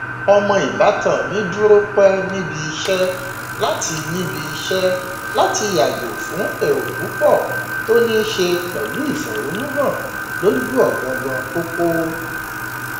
ọmọ ìbátan mi dúró pẹ níbi iṣẹ láti níbi iṣẹ láti yàgò fún èrò púpọ tó ní ṣe pẹlú ìfẹhónúhàn lójú ọgangan pópó